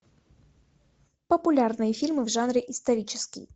популярные фильмы в жанре исторический